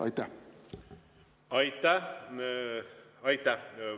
Aitäh!